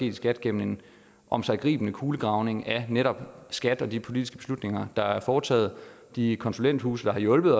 i skat gennem en omsiggribende kulegravning af netop skat og de politiske beslutninger der er foretaget og de konsulenthuse der har hjulpet